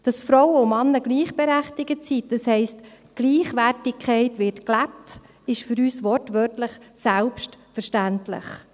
Dass Frauen und Männer gleichberechtigt sind, das heisst, Gleichwertigkeit wird gelebt, ist für uns wortwörtlich, «selbst»-verständlich.